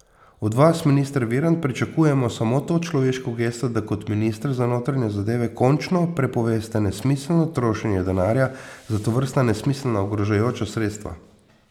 Od vas, minister Virant, pričakujemo samo to človeško gesto, da kot minister za notranje zadeve končno prepoveste nesmiselno trošenje denarja za tovrstna nesmiselna ogrožajoča sredstva.